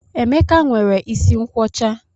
Emeka nwere isi nkwọcha